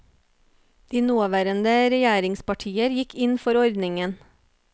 De nåværende regjeringspartier gikk inn for ordningen.